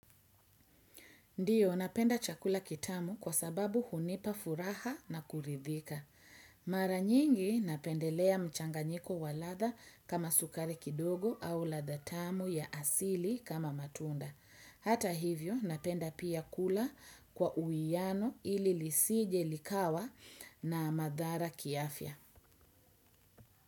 Ndiyo napenda chakula kitamu kwa sababu hunipa furaha na kuridhika. Mara nyingi napendelea mchanganyiko wa ladha kama sukari kidogo au ladha tamu ya asili kama matunda. Hata hivyo napenda pia kula kwa uiano ili lisije likawa na madhara kiafya.